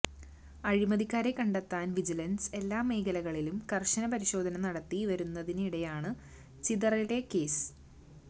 അഴിമതിക്കാരെ കണ്ടെത്താന് വിജിലന്സ് എല്ലാ മേഖലകളിലും കര്ശന പരിശോധന നടത്തിവരുന്നതിനിടെയാണ് ചിതറയിലെ കേസ്